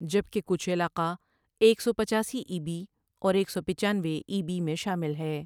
جبکہ کچھ علاقہ ایک سو پچاسی ای بی اور ایک سو پچانوے ای بی میں شامل ہے ۔